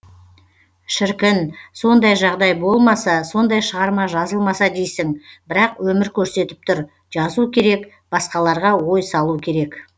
шіркін сондай жағдай болмаса сондай шығарма жазылмаса дейсің бірақ өмір көрсетіп тұр жазу керек басқаларға ой салу керек